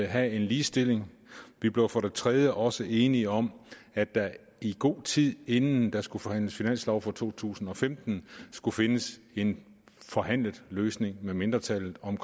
have en ligestilling vi blev for det tredje også enige om at der i god tid inden der skulle forhandles finanslov for to tusind og femten skulle findes en forhandlet løsning med mindretallet om